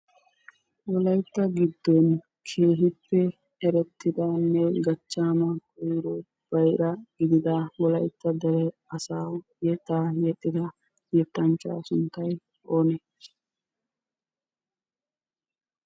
wolaytta giddoni keehippe eretidanne gachaama koyro bayra gididda wolaytta dere asawu yetaa yexxida yetanchaa sunttay oonee?